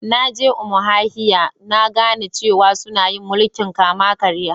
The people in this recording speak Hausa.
Na je Umuahia na gane cewa sunna yin mulki'n kama-karya.